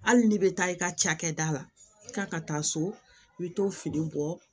Hali ni bɛ taa i ka cakɛda la i ka taa so i bɛ to fini bɔ